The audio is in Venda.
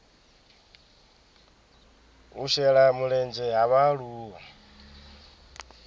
u shela mulenzhe ha vhaaluwa